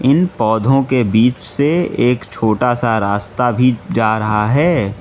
इन पौधों के बीच से एक छोटा सा रास्ता भी जा रहा है।